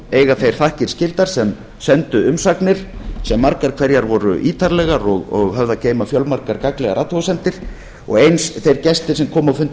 eiga þeir þakkir skildar sem sendu umsagnir sem margar hverjar voru ítarlegar og höfðu að geyma fjölmargar gagnlegar athugasemdir og eins þeir gestir sem komu á fundi